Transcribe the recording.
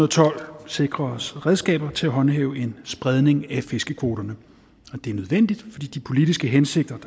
og tolv sikre os redskaber til at håndhæve en spredning af fiskekvoterne det er nødvendigt fordi de politiske hensigter